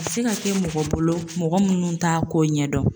A bɛ se ka kɛ mɔgɔ bolo, mɔgɔ minnu t'a ko ɲɛdɔn.